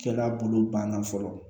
Cɛla bolo banna fɔlɔ